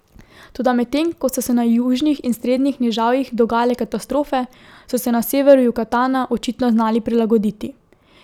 Toda medtem ko so se na južnih in srednjih nižavjih dogajale katastrofe, so se na severu Jukatana očitno znali prilagoditi.